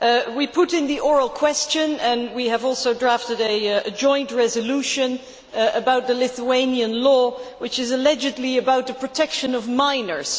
We put in the oral question and we have also drafted a joint resolution about the Lithuanian law, which is allegedly about the protection of minors.